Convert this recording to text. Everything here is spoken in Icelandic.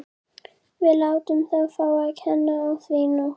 Við látum þá fá að kenna á því í nótt.